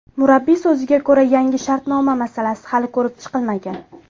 Murabbiy so‘ziga ko‘ra, yangi shartnoma masalasi hali ko‘rib chiqilmagan.